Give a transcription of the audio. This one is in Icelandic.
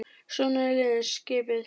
Svona eru liðin skipuð